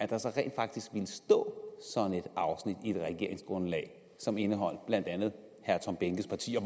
der så rent faktisk ville stå sådan et afsnit i et regeringsgrundlag som indeholdt blandt andet herre tom behnkes parti